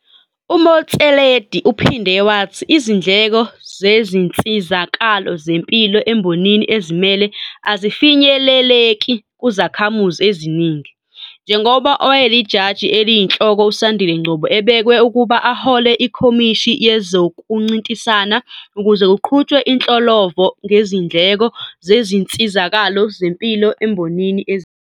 UMotsoaledi uphinde wathi izindleko zezinsizakalo zempilo embonini ezimele azifinyeleleki kuzakhamuzi eziningi, njengoba owayeLijaji Eliyinhloko uSandile Ngcobo ebekwe ukuba ahole iKhomishini yezokuNcintisana ukuze kuqhutshwe inhlolovo ngezindleko zezinsizakalo zempilo embonini ezimele.